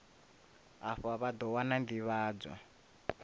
afha vha ḓo wana nḓivhadzo